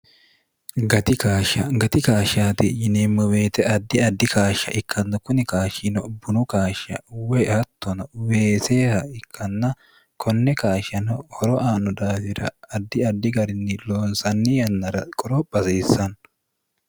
gati kaashshaati yineemmo weete addi addi kaashsha ikkanno kuni kaashshino bunu kaashsha woy hattono weeseeha ikkanna konne kaashshano horo aanno daafira addi addi garinni loonsanni yannara qoropha hasiissanno